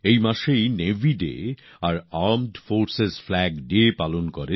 এই মাসেই দেশ নেভি ডে আর আর্মড ফোর্সেস ফ্ল্যাগ ডে পালন করে